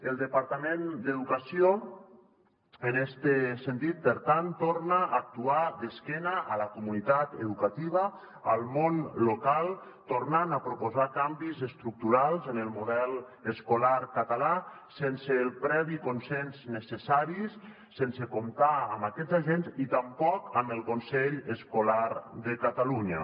el departament d’educació en este sentit per tant torna a actuar d’esquena a la comunitat educativa al món local tornant a proposar canvis estructurals en el model escolar català sense el previ consens necessari sense comptar amb aquests agents i tampoc amb el consell escolar de catalunya